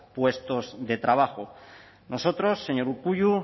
puestos de trabajo nosotros señor urkullu